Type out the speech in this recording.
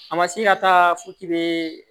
A ma se ka taa fo k'i be